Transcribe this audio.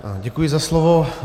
Děkuji za slovo.